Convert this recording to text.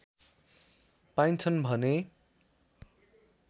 पाइन्छन् भने